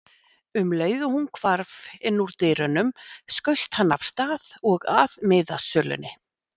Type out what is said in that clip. Um leið og hún hvarf innúr dyrunum skaust hann af stað og að miðasölunni.